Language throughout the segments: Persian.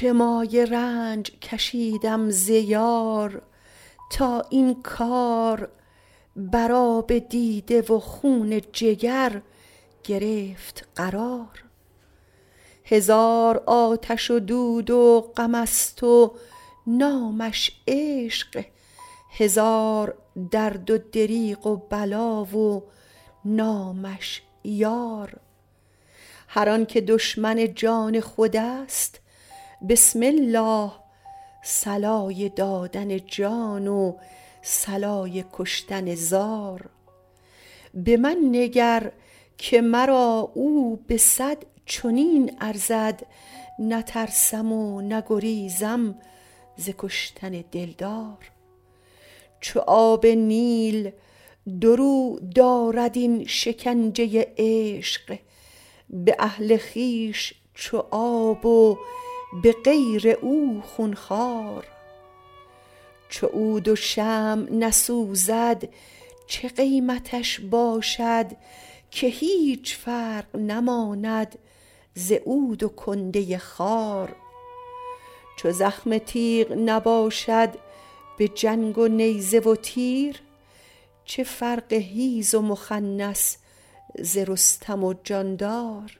چه مایه رنج کشیدم ز یار تا این کار بر آب دیده و خون جگر گرفت قرار هزار آتش و دود و غمست و نامش عشق هزار درد و دریغ و بلا و نامش یار هر آنک دشمن جان خودست بسم الله صلای دادن جان و صلای کشتن زار به من نگر که مرا او به صد چنین ارزد نترسم و نگریزم ز کشتن دلدار چو آب نیل دو رو دارد این شکنجه عشق به اهل خویش چو آب و به غیر او خون خوار چو عود و شمع نسوزد چه قیمتش باشد که هیچ فرق نماند ز عود و کنده خار چو زخم تیغ نباشد به جنگ و نیزه و تیر چه فرق حیز و مخنث ز رستم و جاندار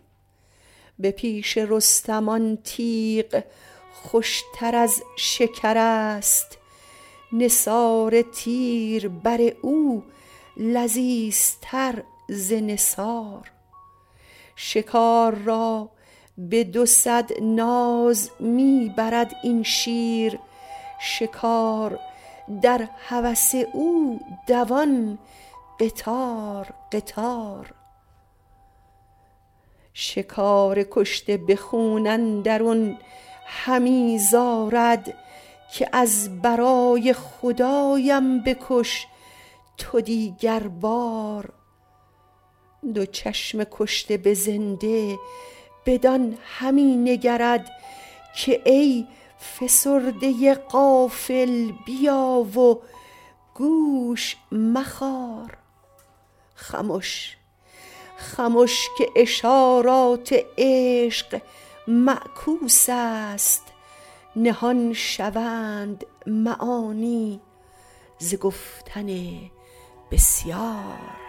به پیش رستم آن تیغ خوشتر از شکرست نثار تیر بر او لذیذتر ز نثار شکار را به دوصد ناز می برد این شیر شکار در هوس او دوان قطار قطار شکار کشته به خون اندرون همی زارد که از برای خدایم بکش تو دیگربار دو چشم کشته به زنده بدان همی نگرد که ای فسرده غافل بیا و گوش مخار خمش خمش که اشارات عشق معکوسست نهان شوند معانی ز گفتن بسیار